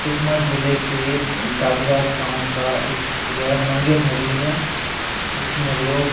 सुकमा जिले के द गादि‍रास गाँव का एक स मंगे नदी है जिसमें लोग --